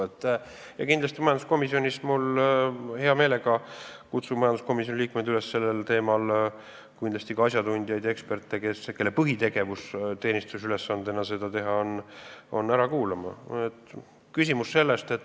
Kindlasti kutsun majanduskomisjoni liikmeid hea meelega üles sellel teemal ära kuulama ka asjatundjaid ja eksperte, kelle põhitegevus teenistusülesandena on sellega tegelda.